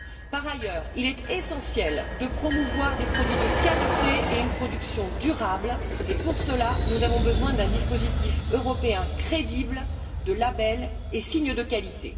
Par ailleurs, il est essentiel de promouvoir des produits de qualité et une production durable et, pour cela, nous avons besoin d'un dispositif européen crédible, de labels et signes de qualité.